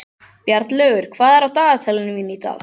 Bjarnlaugur, hvað er á dagatalinu í dag?